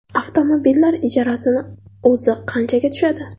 Avtomobillar ijarasini o‘zi qanchaga tushadi.